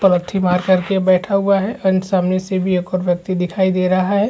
पालथी मारकर के बैठा हुआ है एंड सामने से भी एक और व्यक्ति दिखाई दे रहा हैं।